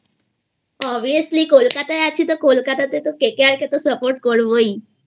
Obviously কলকাতায়আছি তো কলকাতাতে তো KKR তো Support করবোইI